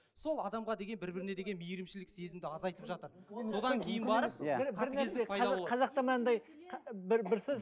сол адамға деген бір біріне деген мейірімшілік сезімді азайтып жатыр содан кейін барып